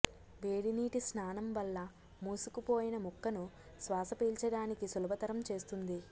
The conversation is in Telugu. వేడి నీటి స్నానం వల్ల మూసుకుపోయిన ముక్కను శ్వాసపీల్చడానికి సులభతరం చేస్తుంది